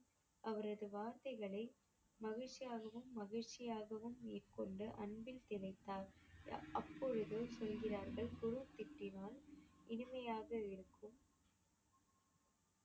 அவரது வார்த்தைகளை மகிழ்ச்சியாகவும் மகிழ்ச்சியாகவும் மேற்கொண்டு அன்பில் திளைத்தார் அப்போது சொல்கிறார்கள் குரு திட்டினால் இனிமையாக இருக்கும்